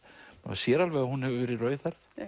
sér alveg að hún hefur verið rauðhærð